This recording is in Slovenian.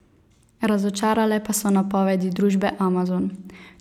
Razočarale pa so napovedi družbe Amazon.